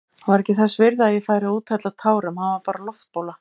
Hann var ekki þess virði að ég færi að úthella tárum, hann var bara loftbóla.